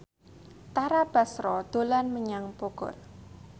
Tara Basro dolan menyang Bogor